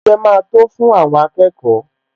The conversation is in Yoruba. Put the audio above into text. Ṣé oúnjẹ máa tó fún àwọn akẹ́kọ̀ọ́?